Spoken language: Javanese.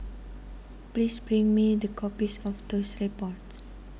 Please bring me the copies of those reports